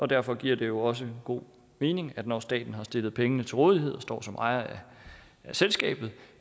derfor giver det jo også god mening når staten har stillet pengene til rådighed og står som ejer af selskabet